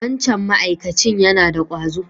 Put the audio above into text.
Wancan ma'akacin yana da ƙwazo.